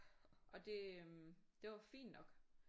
Og det øh det var fint nok